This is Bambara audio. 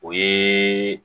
O ye